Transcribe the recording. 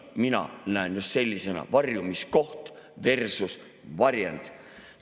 Mina näen just sellisena seda varjumiskoht versus varjend.